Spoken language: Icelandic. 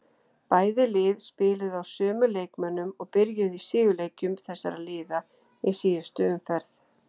Bæði lið spiluðu á sömu leikmönnum og byrjuðu í sigurleikjum þessara liða í síðustu umferð.